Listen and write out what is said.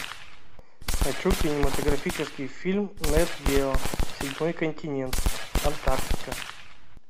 хочу кинематографический фильм нет гео седьмой континент антарктика